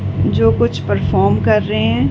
जो कुछ परफॉर्म कर रहे हैं।